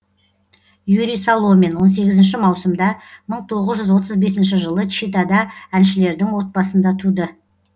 юрий соломин он сегізінші маусымда мың тоғыз жүз отыз бесінші жылы читада әншілердің отбасында туды